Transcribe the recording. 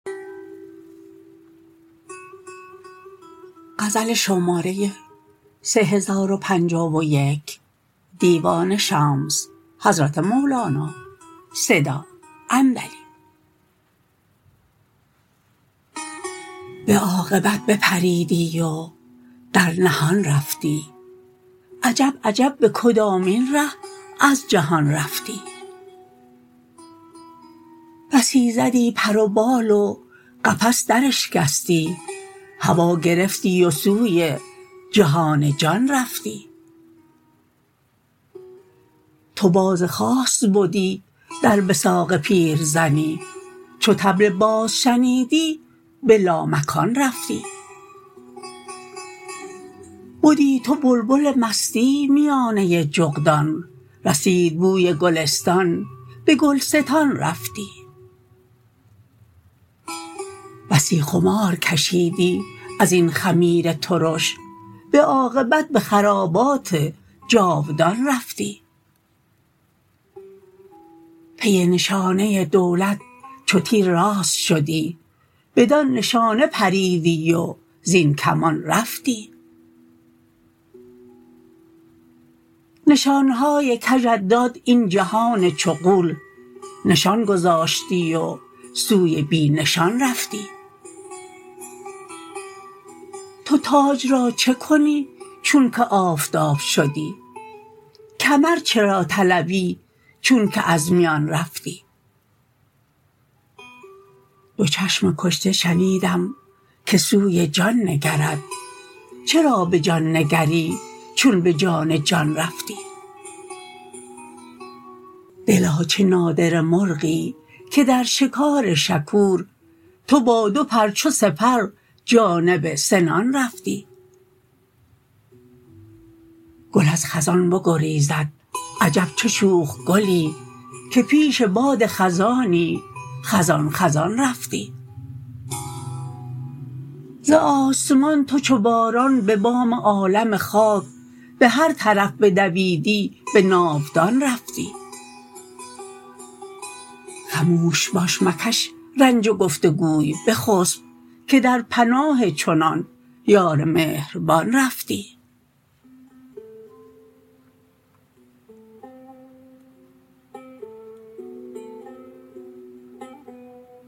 به عاقبت بپریدی و در نهان رفتی عجب عجب به کدامین ره از جهان رفتی بسی زدی پر و بال و قفس دراشکستی هوا گرفتی و سوی جهان جان رفتی تو باز خاص بدی در وثاق پیرزنی چو طبل باز شنیدی به لامکان رفتی بدی تو بلبل مستی میانه جغدان رسید بوی گلستان به گل ستان رفتی بسی خمار کشیدی از این خمیر ترش به عاقبت به خرابات جاودان رفتی پی نشانه دولت چو تیر راست شدی بدان نشانه پریدی و زین کمان رفتی نشان های کژت داد این جهان چو غول نشان گذاشتی و سوی بی نشان رفتی تو تاج را چه کنی چونک آفتاب شدی کمر چرا طلبی چونک از میان رفتی دو چشم کشته شنیدم که سوی جان نگرد چرا به جان نگری چون به جان جان رفتی دلا چه نادره مرغی که در شکار شکور تو با دو پر چو سپر جانب سنان رفتی گل از خزان بگریزد عجب چه شوخ گلی که پیش باد خزانی خزان خزان رفتی ز آسمان تو چو باران به بام عالم خاک به هر طرف بدویدی به ناودان رفتی خموش باش مکش رنج گفت و گوی بخسب که در پناه چنان یار مهربان رفتی